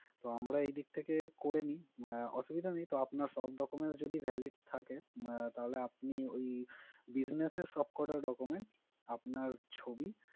তো আমরা এদিক থেকে করেনি, আহ অসুবিধা নেই তো আপনার সব documents যদি valid থাকে আহ তাহলে আপনি ওই business এর সবকটা documents আপনার ছবি,